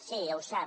sí ho sap